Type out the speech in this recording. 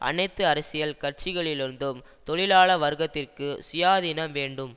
அனைத்து அரசியல் கட்சிகளிலிருந்தும் தொழிலாள வர்க்கத்திற்கு சுயாதீனம் வேண்டும்